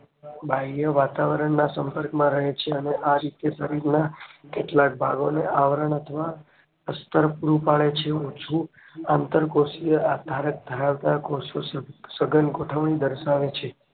બાહ્ય વાતાવરણ ના સંપર્કમાં રહે છે અને આ રીતે શરીરમાં ભાગોનું આવરણ અથવા પુસ્ટર પૂરું પડે છે ઓછું આન્તર કોષીય આધારક ધરાવતા કોષો સઘન ગોઠવણી દર્શાવે છે